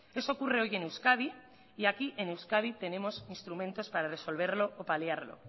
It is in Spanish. eso ocurre hoy en euskadi y aquí en euskadi tenemos instrumentos para resolverlo o para liarlo